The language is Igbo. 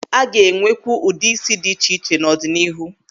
A ga-enwekwu ụdị ísí dị iche iche n'ọdịnihu.